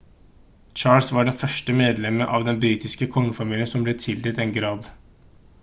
charles var det første medlemmet av den britiske kongefamilien som ble tildelt en grad